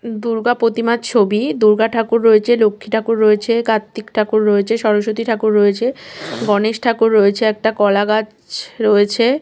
দুর্গা প্রতিমার ছবি। দুর্গা ঠাকুর রয়েছে লক্ষ্মী ঠাকুর রয়েছে। কার্তিক ঠাকুর রয়েছে। স্বরস্বতী ঠাকুর রয়েছে। গনেশ ঠাকুর রয়েছে একটা কলা গাছ রয়েছে।